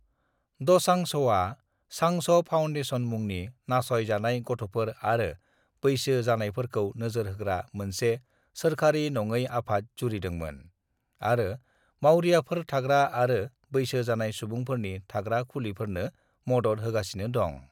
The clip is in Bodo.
"दसांझआ सांझ फाउनडेशन मुंनि नासय जानाय गथ'फोर आरो बैसो जानायफोरखौ नोजोर होग्रा मोनसे सोरखारि नङै आफाद जुरिदोंमोन, आरो मावरियाफोर थाग्रा आरो बैसो जानाय सुबुंफोरनि थाग्रा खुलिफोरनो मदद होगासिनो दं।"